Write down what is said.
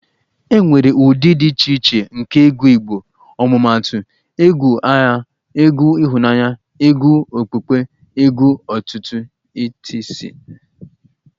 E nwere ụdị dị iche iche nke egwu ifo igbo omumaatu egwu agha, egwu ịhụnanya ,egwu okpukpe, egwu otuto etc